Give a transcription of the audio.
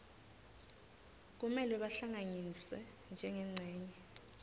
kumele bahlanganiswe njengencenye